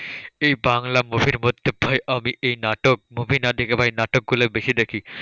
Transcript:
এই বাংলা movie র মধ্যে ভাই আমি এই নাটক movie না দেখে ভাই নাটকগুলো বেশি দেখি।